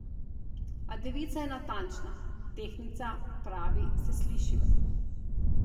A devica je natančna, tehtnica pravi se slišiva.